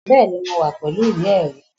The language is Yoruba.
Bẹ́ẹ̀ni, mo wà pẹ̀lú ìwé ẹ̀rí